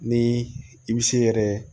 Ni i bi se yɛrɛ